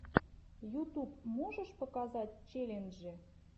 ютуб можешь показать челленджи